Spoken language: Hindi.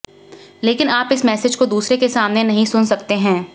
लेकिन आप इस मैसेज को दूसरे के सामने नहीं सुन सकते हैं